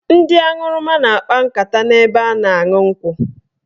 Ndị aṅụrụma na-akpa nkata n'ebe a na-aṅụ nkwụ.